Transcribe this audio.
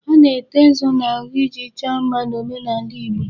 A na-ete nzu n'ahụ iji chọọ mma n'omenaala Igbo.